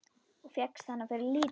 Og fékkst hana fyrir lítið!